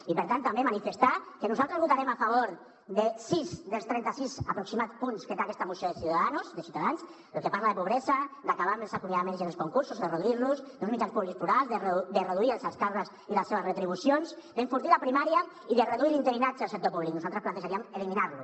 i per tant també manifestar que nosaltres votarem a favor de sis dels trenta sis aproximats punts que té aquesta moció de ciudadanos de ciutadans el que parla de pobresa d’acabar amb els acomiadaments i amb els concursos de reduir los d’uns mitjans públics plurals de reduir els alts càrrecs i les seves retribucions d’enfortir la primària i de reduir l’interinatge al sector públic nosaltres plantejaríem eliminar lo